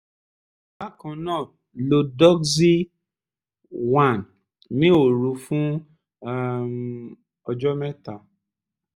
bákan náà lo doxy- 1 ní òru fún um ọjọ́ mẹ́ta